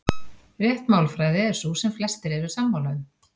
Rétt málfræði er sú sem flestir eru sammála um.